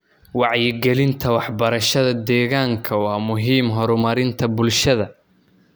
Wacyigelinta waxbarashada deegaanka waa muhiim horumarinta bulshada.